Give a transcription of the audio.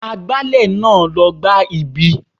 Agbálẹ̀ náà ló gbá ibí.